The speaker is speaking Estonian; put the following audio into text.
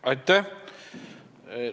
Aitäh!